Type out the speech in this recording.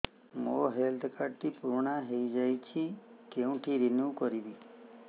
ମୋ health card ଟି ପୁରୁଣା ହେଇଯାଇଛି କେଉଁଠି ରିନିଉ କରିବି